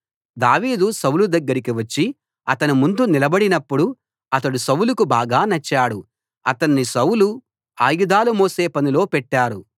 దావీదు సౌలు దగ్గరకి వచ్చి అతని ముందు నిలబడినపుడు అతడు సౌలుకు బాగా నచ్చాడు అతణ్ణి సౌలు ఆయుధాలు మోసే పనిలో పెట్టారు